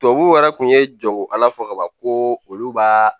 Tubabuw yɛrɛ kun ye jagokɛla fɔ kaban ko olu b'a